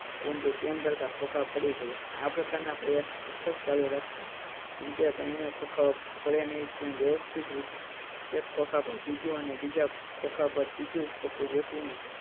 પરંતુ તેમ કરતાં ખોંખા પડી ગયા. આ પ્રકાર ના પ્રયાસ સતત ચાલુ રાખતા અંતે ત્રણે ખોંખાઓ પડ્યા નહીં અને વ્યવસ્થિત રીતે એક ખોંખા પર બીજું ને બીજા ખોંખા પર ત્રીજું ખોખું ગોઠવીને